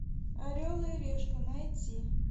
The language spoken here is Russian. орел и решка найти